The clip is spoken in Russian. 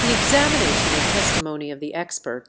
экзамен